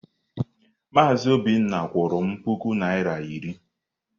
Maazị Obinna kwụrụ m puku naịra iri.